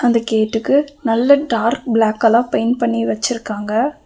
இந்த கேட்டுக்கு நல்ல டார்க் பிளாக் கலர் பெயிண்ட் பண்ணி வச்சிருக்காங்க.